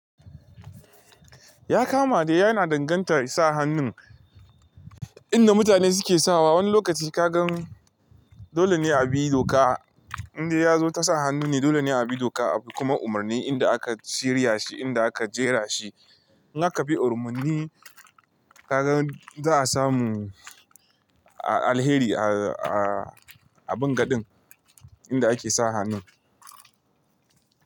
Ya kama dai yana danganta ya sa hannun inda mutane suke sawa. Wani lokaci kagan dole ne a bi doka inda ya zo ta sa hannu ne dole ne a bi doka kuma umarni inda aka shirya shi inda aka jera shi. In aka bi umarni kaga za a samu a alheri aa a bangadin inda ake sa hannun.